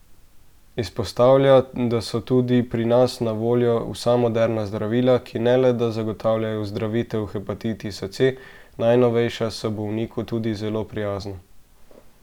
Izpostavlja, da so tudi pri nas na voljo vsa moderna zdravila, ki ne le, da zagotavljajo ozdravitev hepatitisa C, najnovejša so bolniku tudi zelo prijazna.